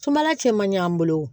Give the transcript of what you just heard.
Sumala cɛ man ɲɛ an bolo o